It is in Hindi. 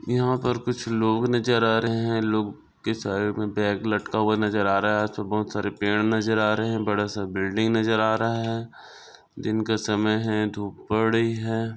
यह पर कुछ नजर आ रहे है लोग के सारे मे बॅग लटका हुआ नज़र आ रहा है और बहुत सारे पेड़ नज़र आ रहे है बडासा बिल्डिंग नज़र आ रहा है दिनका समय है धूप बड़ी है।